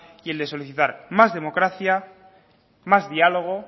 y el de solicitar más democracia más diálogo